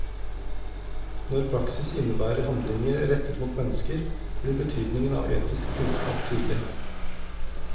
Når praksis innebærer handlinger rettet mot mennesker, blir betydningen av etisk kunnskap tydelig.